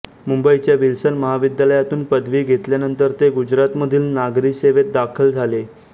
मुंबईच्या विल्सन महाविद्यालयातून पदवी घेतल्यानंतर ते गुजरातमधील नागरी सेवेत दाखल झाले